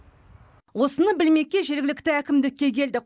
осыны білмекке жергілікті әкімдікке келдік